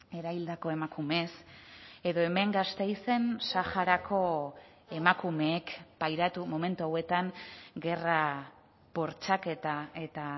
erahildako emakumeez edo hemen gasteizen saharako emakumeek pairatu momentu hauetan gerra bortxaketa eta